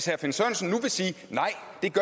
herre finn sørensen siger